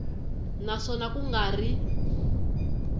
na swona ku nga ri